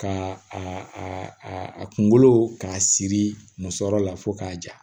Ka a a a kunkolo k'a siri muso la fo k'a ja